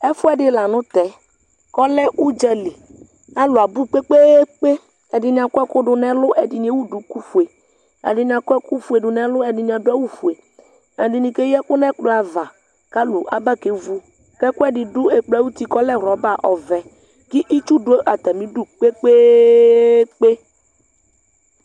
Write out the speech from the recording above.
ɛfoɛdi lantɛ k'ɔlɛ udzali alo abò kpekpekpe ɛdini akɔ ɛkò do n'ɛlu ɛdini ewu duku fue ɛdini akɔ ɛkò fue do n'ɛlu ɛdini ado awu fue ɛdini keyi ɛkò n'ɛkplɔ ava k'alo aba ke vu k'ɛkoedi do ɛkplɔ ayiti k'ɔlɛ rɔba ɔvɛ k'itsu do atami du kpekpekpe